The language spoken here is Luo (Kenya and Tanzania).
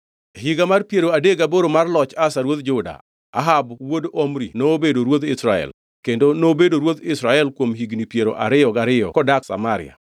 E higa mar piero adek gaboro mar loch Asa ruodh Juda, Ahab wuod Omri nobedo ruodh Israel, kendo nobedo ruodh Israel kuom higni piero ariyo gariyo kodak Samaria.